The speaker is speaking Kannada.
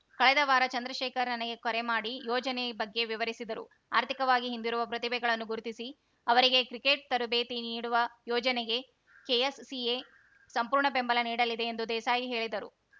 ಕಳೆದ ವಾರ ಚಂದ್ರಶೇಖರ್‌ ನನಗೆ ಕರೆ ಮಾಡಿ ಯೋಜನೆ ಬಗ್ಗೆ ವಿವರಿಸಿದರು ಆರ್ಥಿಕವಾಗಿ ಹಿಂದಿರುವ ಪ್ರತಿಭೆಗಳನ್ನು ಗುರುತಿಸಿ ಅವರಿಗೆ ಕ್ರಿಕೆಟ್‌ ತರಬೇತಿ ನೀಡುವ ಯೋಜನೆಗೆ ಕೆಎಸ್‌ಸಿಎ ಸಂಪೂರ್ಣ ಬೆಂಬಲ ನೀಡಲಿದೆ ಎಂದು ದೇಸಾಯಿ ಹೇಳಿದರು